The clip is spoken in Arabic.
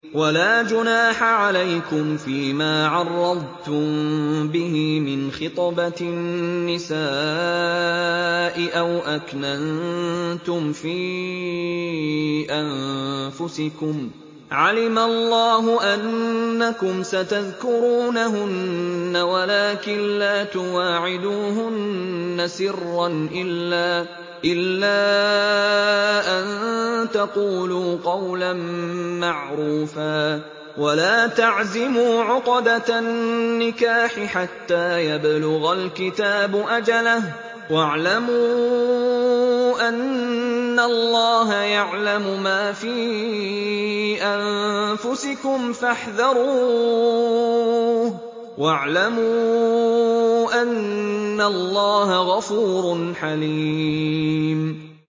وَلَا جُنَاحَ عَلَيْكُمْ فِيمَا عَرَّضْتُم بِهِ مِنْ خِطْبَةِ النِّسَاءِ أَوْ أَكْنَنتُمْ فِي أَنفُسِكُمْ ۚ عَلِمَ اللَّهُ أَنَّكُمْ سَتَذْكُرُونَهُنَّ وَلَٰكِن لَّا تُوَاعِدُوهُنَّ سِرًّا إِلَّا أَن تَقُولُوا قَوْلًا مَّعْرُوفًا ۚ وَلَا تَعْزِمُوا عُقْدَةَ النِّكَاحِ حَتَّىٰ يَبْلُغَ الْكِتَابُ أَجَلَهُ ۚ وَاعْلَمُوا أَنَّ اللَّهَ يَعْلَمُ مَا فِي أَنفُسِكُمْ فَاحْذَرُوهُ ۚ وَاعْلَمُوا أَنَّ اللَّهَ غَفُورٌ حَلِيمٌ